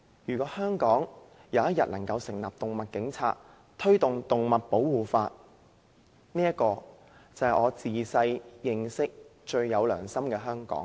如果香港有一天能夠成立"動物警察"，推動動物保護法，這便是我自小認識、最有良心的香港。